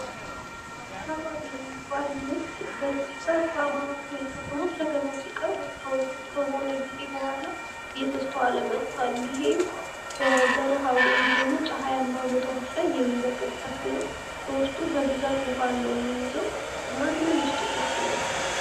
ጥሬ የሚበሉና ለተለያዩ ምግቦች ማጣፈጫነት የሚያገለግሉ የዕፅዋት ክፍሎች።